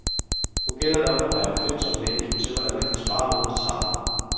Nu gælder det om at være opfindsom med hensyn til hvordan man kan spare uden at savne.